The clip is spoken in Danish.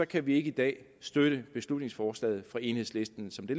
kan vi ikke i dag støtte beslutningsforslaget fra enhedslisten som det